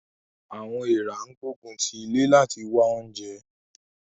Àwọn èèrà ń gbógun ti ilé láti wá oúnjẹ